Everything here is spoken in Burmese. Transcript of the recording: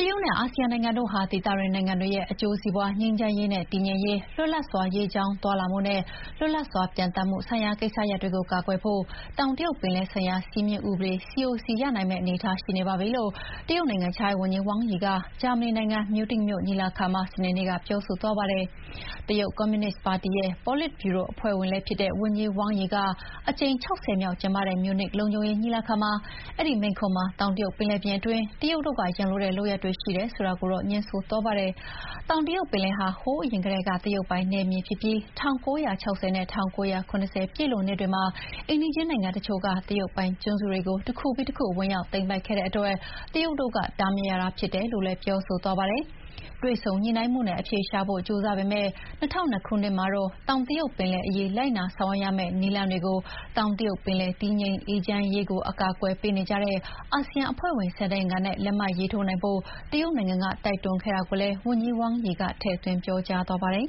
ရုတ်နဲ့အာဆီယံနိုင်ငံတို့ဟာ ဒေသတွင်းနိုင်ငံတွေရဲ့ အကျိုးစီးပွါး၊ ငြိမ်းချမ်းရေးနဲ့ တည်ငြိမ်ရေး၊ လွတ်လပ်စွာ ရေကြောင်းသွားလာမှုနဲ့ လွတ်လပ်စွာ ပျံ သန်းမှုဆိုင်ရာကိစ္စရပ်တွေကို ကာကွယ်ဖို့ တောင်တရုတ်ပင်လယ်ဆိုင်ရာ စည်းမျဥ်းဥပဒေ COC ရနိုင်မယ့်အနေအထားရှိနေပါပြီလို့ တရုတ်နိုင်ငံခြားရေးဝန်ကြီး wang Yi က ဂျာမနီနိုင်ငံ၊ မြူးနစ်မြို့ညီလာခံမှာ စနေနေ့က ပြောသွားပါတယ်။ တရုတ်ကွန်မြူနစ်ပါတီရဲ့ ပေါ်လစ်ဗြူရိုအဖွဲ့ဝင်လည်းဖြစ်တဲ့ဝန်ကြီး Wang Yi က အကြိမ် ၆၀ မြောက်ကျင်းပတဲ့ မြူးနစ်လုံခြုံရေးညီလာခံမှာမိန့်ခွန်းမှာ တောင်တရုတ်ပင်လယ်ပြင်တွင်း တရုတ်တို့က ရန်လိုတဲ့လုပ်ရပ်တွေရှိတယ်ဆိုတာကိုတော့ ငြင်းဆိုသွားပါတယ်။ တောင်တရုတ်ပင်လယ်ဟာ ဟိုးအရင်ကတည်းက တရုတ်ပိုင်နယ်မြေဖြစ်ပြီး ၁၉၆၀ နဲ့ ၁၉၇၀ ပြည့်လွန်နှစ်တွေမှာ အိမ်နီးချင်းနိုင်ငံတချို့က တရုတ်ပိုင်ကျွန်းတွေကို တခုပြီးတခု ဝင်ရောက်သိမ်းပိုက်ခဲ့တဲ့အတွက် တရုတ်တို့က တားမြစ်ရတာဖြစ်တယ်လို့လည်း ပြောဆိုသွားပါတယ်။ တွေ့ဆုံညှိနှိုင်းမှုနဲ့အဖြေရှာဖို့ ကြိုးစားပေမယ့် ၂၀၀၂ ခုနှစ်မှာတော့ တောင်တရုတ်ပင်လယ်အရေး လိုက်နာဆောင်ရွက်ရမယ့်နည်းလမ်းတွေကို တောင်တရုတ်ပင်လယ် တည်ငြိမ်အေးချမ်းရေးကို အကာအကွယ်ပေးနေကြတဲ့ အာဆီယံအဖွဲ့ဝင် ၁၀ နိုင်ငံနဲ့ လက်မှတ်ရေးထိုးနိုင်ဖို့ တရုတ်နိုင်ငံက တိုက်တွန်းခဲ့တာကိုလည်း ဝန်ကြီး Wang Yi ကထည့်သွင်းပြောကြားသွားပါတယ်